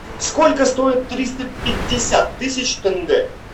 сколько стоит триста пятьдесят тысяч тенге